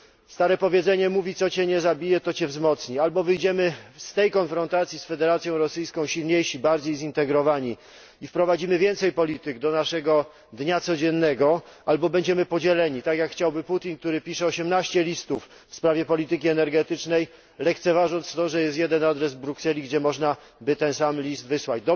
Stare powiedzenie mówi co cię nie zabije to cię wzmocni, albo wyjdziemy z tej konfrontacji z Federacją Rosyjską silniejsi, bardziej zintegrowani i wprowadzimy więcej polityk do naszego dnia codziennego, albo będziemy podzieleni, tak jak chciałby Putin, który pisze 18 listów w sprawie polityki energetycznej, lekceważąc to, że jest jeden adres w Brukseli, gdzie można by ten sam list wysłać.